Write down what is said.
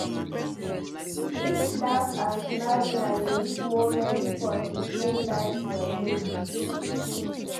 Each laugh and smile na unique moment for pikin life journey.